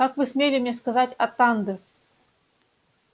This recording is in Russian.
как вы смели мне сказать атанде